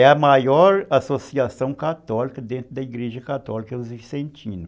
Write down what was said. É a maior associação católica dentro da Igreja Católica dos Vicentinos.